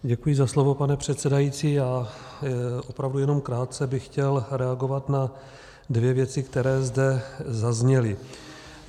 Děkuji za slovo, pane předsedající, já opravdu jenom krátce bych chtěl reagovat na dvě věci, které zde zazněly.